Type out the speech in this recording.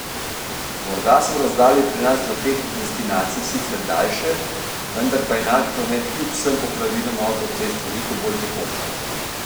Morda so razdalje pri nas do teh destinacij sicer daljše, vendar pa je naš promet kljub vsem popravilom avtocest veliko bolj tekoč.